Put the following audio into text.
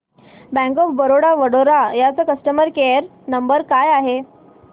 bank of Baroda Vadodara चा customer care number काय आहे